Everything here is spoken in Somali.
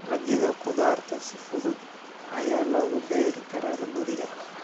Dalagyada khudaarta si fudud ayaa loogu beeri karaa guriga.